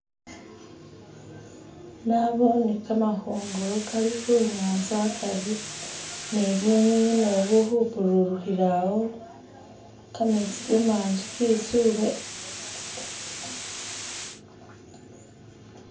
Naboone kamahongolo kali hunyanza akari ni bunyunyi nabwo buli hupurulihira awo kametsi kamanji ketsule